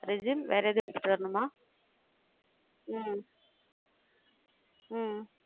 Resume ம் வேற எதுவும் எடுத்துட்டு வரணுமா? உம் உம்